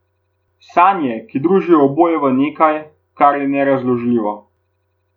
Sanje, ki družijo oboje v nekaj, kar je nerazložljivo.